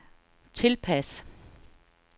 tilpas